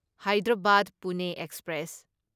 Hyderabad Pune express